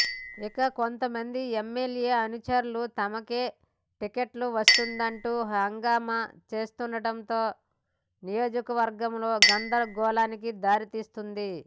ఇక కొంతమంది ఎమ్మెల్యే అనుచరులు తమకే టికెట్టు వస్తుందంటూ హంగామా చేస్తుండటం నియోజకవర్గంలో గందరగోళానికి దారితీస్తోంది